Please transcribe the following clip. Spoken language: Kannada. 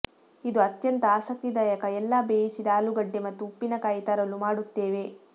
ಇದು ಅತ್ಯಂತ ಆಸಕ್ತಿದಾಯಕ ಎಲ್ಲಾ ಬೇಯಿಸಿದ ಆಲೂಗಡ್ಡೆ ಮತ್ತು ಉಪ್ಪಿನಕಾಯಿ ತರಲು ಮಾಡುತ್ತೇವೆ